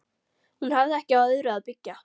Hún hafði ekki á öðru að byggja.